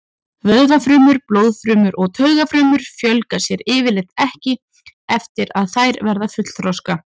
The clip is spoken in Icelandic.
Vöðvafrumur, blóðfrumur og taugafrumur fjölga sér yfirleitt ekki eftir að þær verða fullþroska.